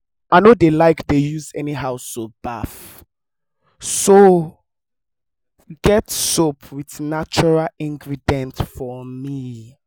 i no dey like to dey use anyhow soap baff so get soap with natural ingredients for me